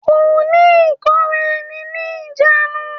Kò ní ìkóra ẹni ní ìjánu.